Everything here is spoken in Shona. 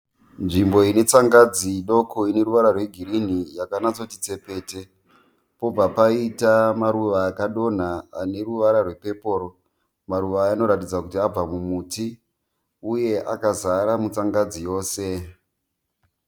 Nzvimbo ine tsangadzi doko ine ruvara rwegirini yakanyatsoti tsepete. Pobva paita maruva akadonha aneruvara rwepeporo . Maruva aya anoratidza kuti abva mumuti ,uye akazara mutsangadzi yose.